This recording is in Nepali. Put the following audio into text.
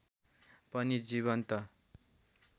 पनि जीवन्त